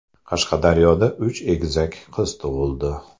Qashqadaryoda uch egizak qiz tug‘ildi .